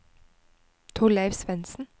Torleif Svensen